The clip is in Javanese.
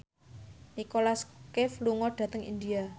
Nicholas Cafe lunga dhateng India